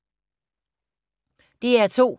DR2